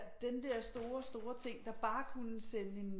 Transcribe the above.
Ja den der store store ting der bare kunne sende en